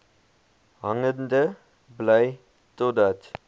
hangende bly totdat